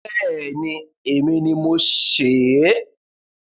Bẹẹni. Èmi ni mo sè é.